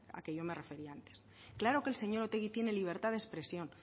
a que yo me refería antes claro que el señor otegi tiene libertad de expresión